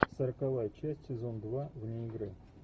сороковая часть сезон два вне игры